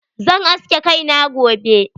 Zan aske kai na gobe.